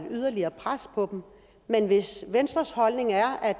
et yderligere pres på dem men hvis venstres holdning er at